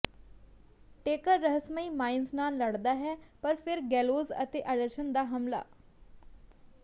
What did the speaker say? taker ਰਹੱਸਮਈ mines ਨਾਲ ਲੜਦਾ ਹੈ ਪਰ ਫਿਰ ਗੈਲੋਜ਼ ਅਤੇ ਐਂਡਰਸਨ ਦਾ ਹਮਲਾ